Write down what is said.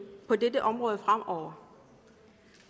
på dette område fremover